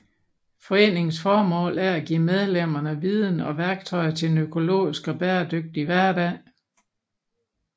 Foreningens formål er at give medlemmerne viden og værktøjer til en økologisk og bæredygtig hverdag